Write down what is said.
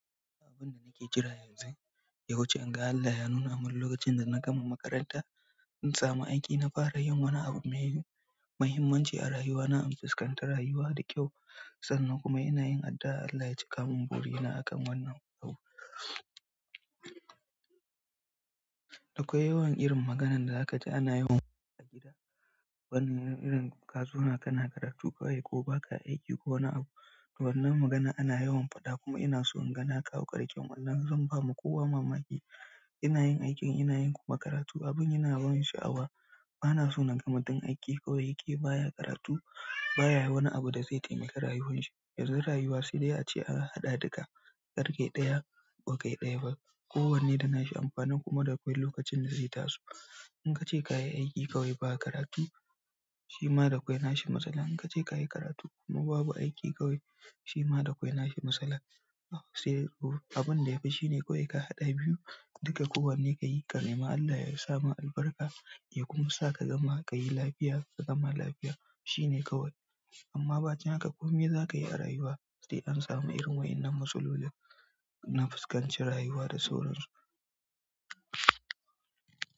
Abin da nake jira yanzu, ya wuce in ga Allah ya nuna min lokacin da na gama makaranta, in samu aiki, na fara yin wani abu mai mahimmanci a rayuwa na, in fuskantar rayuwa da kyau sannan kuma ina yin addu'a Allah ya cika mun burina akan wannan yau. Akwai yawan irin maganan da za ka ji ana yawan faɗa a gida, wani irin kazuna kana karatu kawai ko baka aiki ko wani abu. Wannan magana ana yawan faɗa kuma ina so in ga na kawo ƙarshen wannan, zan ba ma kowa mamaki. Ina yin aikin ina yin kuma karatu, abin yana ban sha'awa. Bana so na ga mutum aiki kawai yake baya karatu baya wani abu da zai taimaki rayuwar shi. Yanzu rayuwa, sai dai a ce ana haɗa duka, karkai ɗaya bakai ɗaya ba, kowanne da na shi amfani kuma da kawai lokacin da zai taso. In ka ce ka yi aiki kawai ba karatu, shi ma da kawai na shi matsalan. In ka ce ka yi karatu kuma babu aiki kawai, shi ma da kawai na shi matsala. Saidai abin da yafi shine kawai ka haɗa biyu duka kowanne ka yi, ka nemi Allah ya sa ma albarka, ya kuma sa ka gama ka yi lafiya ka gama lafiya shine kawai. Amma ba can haka kuma za ka yi a rayuwa sai an samu irin waɗannan matsaloli an fuskanci rayuwa da sauran su.